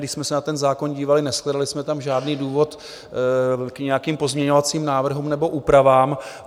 Když jsme se na ten zákon dívali, neshledali jsme tam žádný důvod k nějakým pozměňovacím návrhům nebo úpravám.